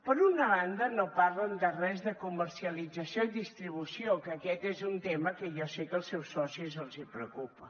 per una banda no parlen de res de comercialització i distribució que aquest és un tema que jo sé que als seus socis els preocupa